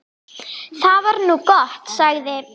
Það var nú gott, sagði